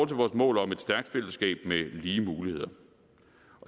til vores mål om et stærkt fællesskab med lige muligheder